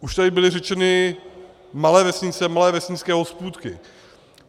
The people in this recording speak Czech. Už tady byly řečeny malé vesnice, malé vesnické hospůdky.